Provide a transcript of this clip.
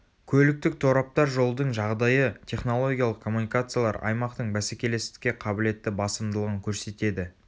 көліктік тораптар жолдың жағдайы технологиялық коммуникациялар аймақтың бәсекелестікке қабілетті басымдылығын көрсетеді